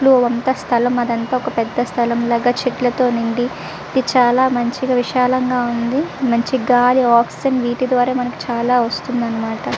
అదంతా ఒక పెద్ద స్థలం లాగా చెట్లతో నిండి చాలా మంచిగా విశాల మంచిగా విశాలంగా ఉంది. మంచి గాలి ఆక్సిజన్ విడుదల మనకు చాలా వస్తుందన్నమాట.